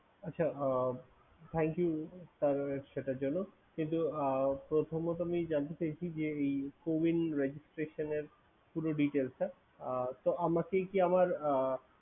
আচ্ছা আহ thank you তার সেটার জন্য কিন্তু আহ প্রথমত আমি জানতে চাইছি যে, এই cowin registration এর পুরো details টা। আহ তো আমাকে কি আমার আহ